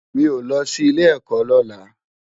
Mi ó lò si ilé èkò lòlá